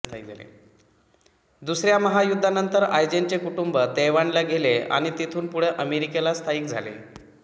दुसऱ्या महायुध्दानंतर आयजेनचे कुटुंब तैवानला गेले आणि तिथुन पुढे अमेरिकेला स्थायिक झाले